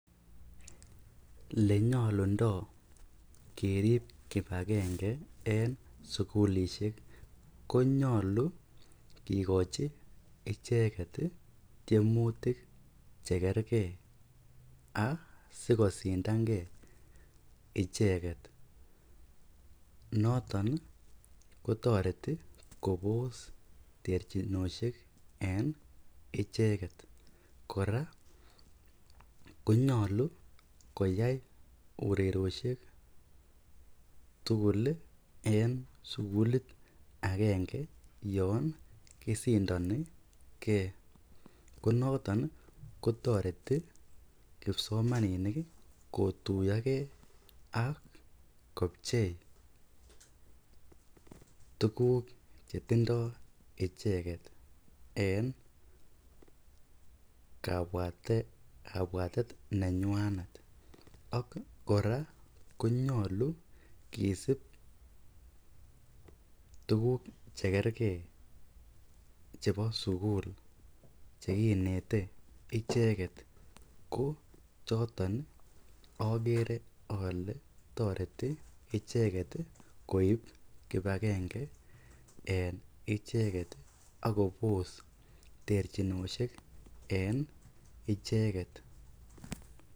Elenyolundo kerib kibakenge en ngalekab sukulishek konyolu kikochi icheket kikochi tiemutik chekerkee asikosindange icheket noton kotoreti kobos terchinoshek en icheket, kora konyolu koyai urerioshek tukul en sukulit akenge yoon kisindonike ko noton kotoreti kipsomaninik kotuyoke ak kopchei tukuk chetindo icheket en kabwatet nenywanet ak kora konyolu kisib tukuk chekerke chebo sukul chekinete icheket ko choton okere olee toreti icheket koib kibakenge en icheket ak kobos terchinoshek en icheket.